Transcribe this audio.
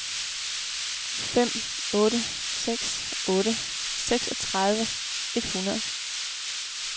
fem otte seks otte seksogtredive et hundrede